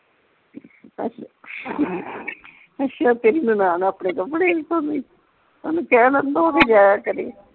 ਅੱਛਾ ਅੱਛਾ ਤੇਰੀ ਨਨਾਣ ਆਪਣੇ ਕੱਪੜੇ ਨਹੀਂ ਧੋਂਦੀ ਉਹਨੂੰ ਕਹਿ ਨਾ ਧੋ ਕੇ ਜਾਇਆ ਕਰੇ